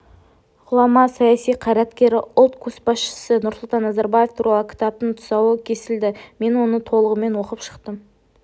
ғұлама саяси қайраткері ұлт көшбасшысы нұрсұлтан назарбаев туралы кітаптың тұсауы кесілді мен оны толығымен оқып шықтым